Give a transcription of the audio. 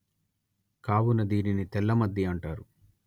కావున దీనిని తెల్లమద్ది అంటారు